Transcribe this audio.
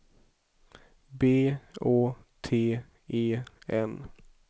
B Å T E N